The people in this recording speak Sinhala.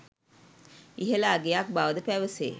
ඉහළ අගයක් බවද පැවසේ.